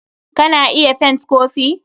Ka na iya fent kopi.